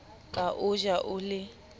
ka o ja o le